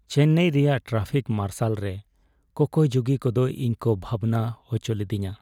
ᱪᱮᱱᱱᱟᱭ ᱨᱮᱭᱟᱜ traffic marshal ᱨᱮ ᱠᱚᱠᱚᱭ ᱡᱩᱜᱤ ᱠᱚᱫᱚ ᱤᱧ ᱠᱚ ᱵᱷᱟᱵᱽᱱᱟ ᱦᱚᱪᱚ ᱞᱤᱫᱤᱧᱟ ᱾